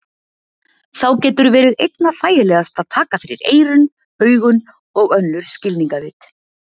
Þá getur verið einna þægilegast að taka fyrir eyrun, augun og önnur skilningarvit.